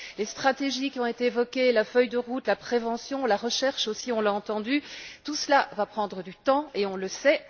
Les stratégies qui ont été évoquées, la feuille de route, la prévention, la recherche aussi on l'a entendu tout cela va prendre du temps et on le sait.